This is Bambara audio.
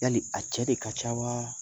Ya a cɛ de ka ca wa